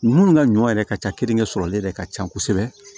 Minnu ka ɲɔ yɛrɛ ka ca keninke sɔrɔlen yɛrɛ ka ca kosɛbɛ